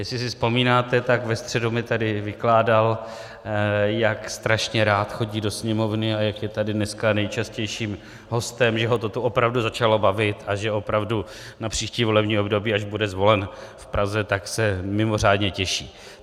Jestli si vzpomínáte, tak ve středu mi tady vykládal, jak strašně rád chodí do Sněmovny a jak je tady dneska nejčastějším hostem, že ho to tu opravdu začalo bavit a že opravdu na příští volební období, až bude zvolen v Praze, tak se mimořádně těší.